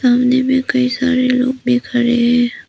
सामने में कई सारे लोग भी खड़े हैं।